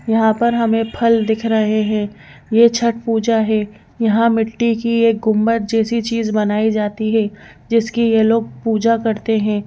यहां पर हमें फल दिख रहे हैं यह छट पूजा है यहां मिट्टी की एक गुंबत जैसी चीज बनाई जाती है जिसकी यह लोग पूजा करते हैं।